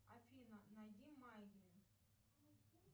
афина найди